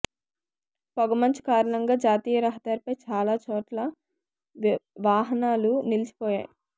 పొగమంచు కారణంగా జాతీయ రహదారిపై చాలా చోట్ల వాహనాలు నిలిచిపోయాయి